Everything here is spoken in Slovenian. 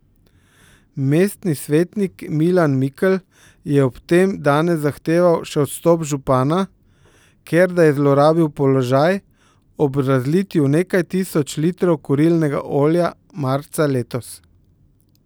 Mestni svetnik Milan Mikl je ob tem danes zahteval še odstop župana, ker da je zlorabil položaj ob razlitju nekaj tisoč litrov kurilnega olja marca letos.